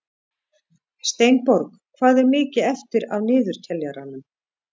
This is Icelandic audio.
Steinborg, hvað er mikið eftir af niðurteljaranum?